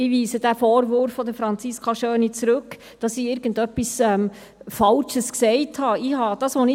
Ich weise den Vorwurf von Franziska Schöni, dass ich irgendetwas Falsches gesagt habe, zurück.